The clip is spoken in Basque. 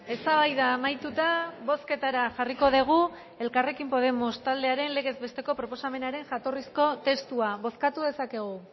eztabaida amaituta bozketara jarriko dugu elkarrekin podemos taldearen legez besteko proposamenaren jatorrizko testua bozkatu dezakegu